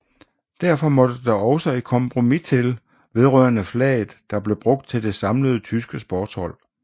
Derfor måtte der også et kompromis til vedrørende flaget der blev brugt til det samlede tyske sportshold